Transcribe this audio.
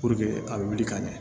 a bɛ wuli ka ɲɛ